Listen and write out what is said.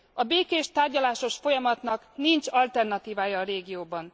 A békés, tárgyalásos folyamatnak nincs alternatívája a régióban.